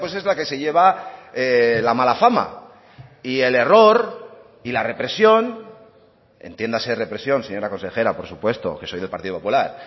es la que se lleva la mala fama y el error y la represión entiéndase represión señora consejera por supuesto que soy del partido popular